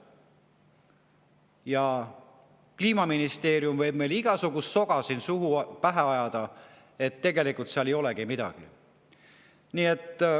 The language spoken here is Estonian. Ja Kliimaministeerium võib meile siin pähe ajada igasugust soga, et tegelikult seal ei olegi midagi.